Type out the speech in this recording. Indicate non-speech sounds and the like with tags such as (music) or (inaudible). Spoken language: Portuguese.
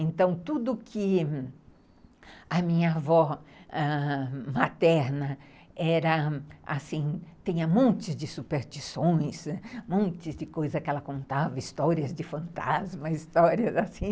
Então, tudo que a minha avó ãh... materna era assim, tinha um monte de superstições, um monte de coisa que ela contava, histórias de fantasmas, histórias assim. (laughs)